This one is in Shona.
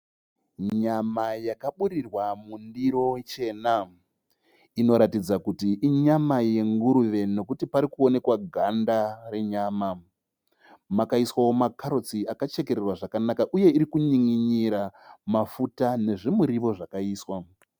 Nyama yakaburirwa mundiro chena. Inoratidza kuti inyama yenguruve nekuti pari kuoneka ganda renyama. Makaiswawo makarotsi akachekererwa zvakanaka uye iri kunyininira mafuta nezvimuriwo zvakaiswa.